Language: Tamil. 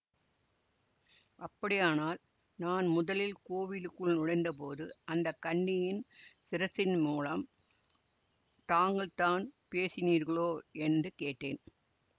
அப்படியானால் நான் முதலில் கோவிலுக்குள் நுழைந்த போது அந்த கன்னியின் சிரசின் மூலம் தாங்கள்தான் பேசினீர்களோ என்று கேட்டேன்